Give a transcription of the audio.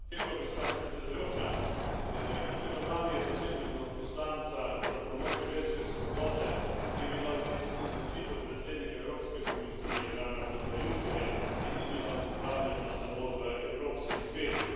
Gospa predsedujoča, imenovanje posebnega odposlanca za promocijo verske svobode je bila odlična odločitev predsednika Evropske komisije Jean Clauda Junckerja in ni bila pozdravljena samo v Evropski zvezi.